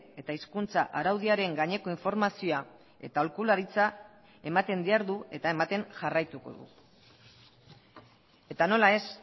eta hizkuntza araudiaren gaineko informazioa eta aholkularitza ematen dihardu eta ematen jarraituko du eta nola ez